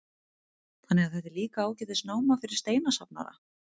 Þannig að þetta er líka ágætis náma fyrir steinasafnara?